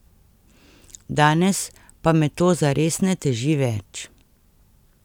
Danes pa me to zares ne teži več.